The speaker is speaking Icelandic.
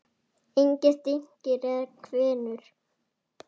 Engir dynkir eða hvinur.